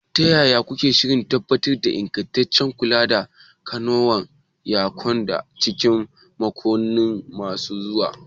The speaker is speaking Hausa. Ta yaya kuke shirin tabbatar da ingantaccen kula da katakon yanka a cikin makonni masu zuwa?